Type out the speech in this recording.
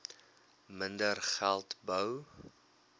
minder geld bou